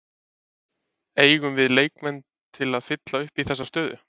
Eigum við leikmann til að fylla upp í þessa stöðu?